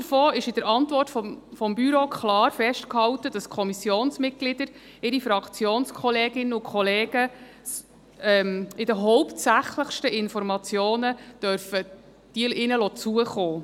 Abgesehen davon ist in der Antwort des Büros klar festgehalten, dass die Kommissionsmitglieder ihren Fraktionskolleginnen und -kollegen die hauptsächlichsten Informationen zukommen lassen dürfen.